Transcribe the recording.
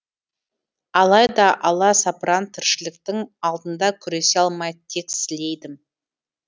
алайда аласапыран тіршіліктің алдында күресе алмай тек сілейдім